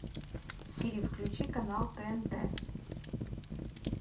сири включи канал тнт